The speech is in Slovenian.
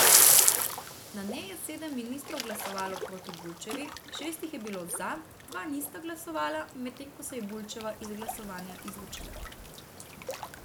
Na njej je sedem ministrov glasovalo proti Bulčevi, šest jih je bilo za, dva nista glasovala, medtem ko se je Bulčeva iz glasovanja izločila.